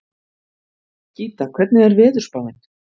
Gíta, hvernig er veðurspáin?